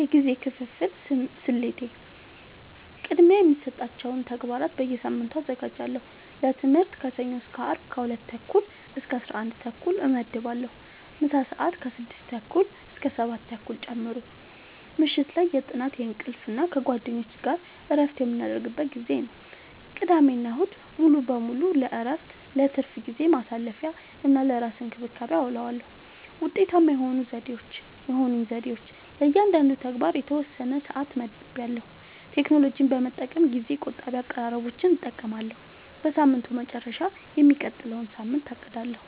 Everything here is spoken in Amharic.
የጊዜ ክፍፍል ስልቴ፦ · ቅድሚያ የሚሰጣቸውን ተግባራት በየሳምንቱ አዘጋጃለሁ · ለትምህርት ከሰኞ እስከ አርብ ከ 2:30-11:30 እመድባለሁ (ምሳ ሰአት 6:30-7:30 ጨምሮ) · ምሽት ላይ የጥናት፣ የእንቅልፍ እና ከጓደኞች ጋር እረፍት የምናደርግበት ጊዜ ነው። · ቅዳሜና እሁድ ሙሉ በሙሉ ለእረፍት፣ ለትርፍ ጊዜ ማሳለፊ፣ እና ለራስ እንክብካቤ አዉለዋለሁ። ውጤታማ የሆኑኝ ዘዴዎች፦ · ለእያንዳንዱ ተግባር የተወሰነ ሰዓት መድቤያለሁ · ቴክኖሎጂን በመጠቀም ጊዜ ቆጣቢ አቀራረቦችን እጠቀማለሁ · በሳምንቱ መጨረሻ የሚቀጥለውን ሳምንት አቅዳለሁ